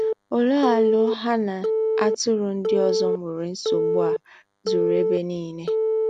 òléé áló há nà-átụ́rụ́ ndí́ ózó nwéré nsógbu à zùrù èbé nílé?